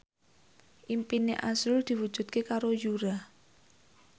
impine azrul diwujudke karo Yura